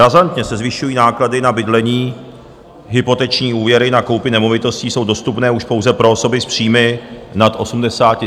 Razantně se zvyšují náklady na bydlení, hypoteční úvěry na koupi nemovitostí jsou dostupné už pouze pro osoby s příjmy nad 80 000 korun měsíčně.